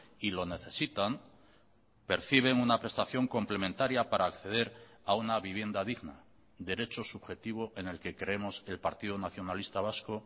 y lo necesitan perciben una prestación complementaria para acceder a una vivienda digna derecho subjetivo en el que creemos el partido nacionalista vasco